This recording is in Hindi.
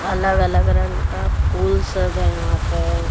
अलग-अलग रंग का फूल सब है वहां पे।